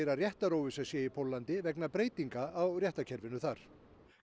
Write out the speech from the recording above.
að réttaróvissa sé í Póllandi vegna breytinga á réttarkerfinu þar